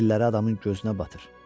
Telləri adamın gözünə batır.